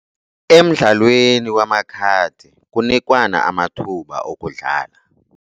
Emdlalweni wamakhadi kunikwana amathuba okudlala.